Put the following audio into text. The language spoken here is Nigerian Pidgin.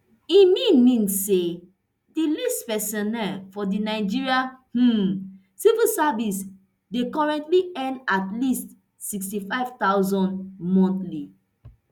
e mean mean say di least personnel for di nigeria um civil service dey currently earn at least nsixty-five thousand monthly